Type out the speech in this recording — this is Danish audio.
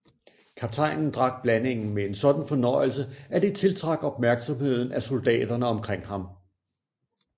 Kaptajnen drak blandingen med en sådan fornøjelse at det tiltrak opmærksomheden af soldaterne omkring ham